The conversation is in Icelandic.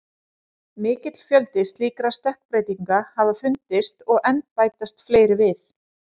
Mikill fjöldi slíkra stökkbreytinga hafa fundist og enn bætast fleiri við.